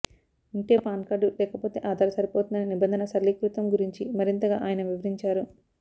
ఉంటే PAN card లేకపోతే ఆధార్ సరిపోతుందనే నిబంధన సరళీకృతం గురించి మరింతగా ఆయన వివరించారు